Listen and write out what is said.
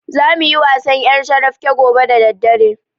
Zamu yi wasan ƴarcarafke gobe da daddare.